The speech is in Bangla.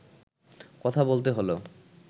কথা বলতে হলো